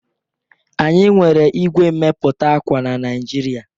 Anyị nwere igwe n'emepụta akwa na Nigeria